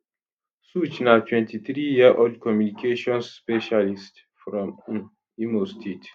sooj na 23yearold communications specialist from um imo state